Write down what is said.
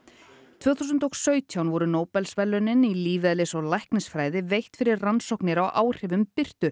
tvö þúsund og sautján voru Nóbelsverðlaunin í lífeðlis og læknisfræði veitt fyrir rannsóknir á áhrifum birtu